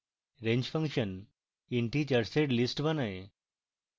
range function integers এর list বানায়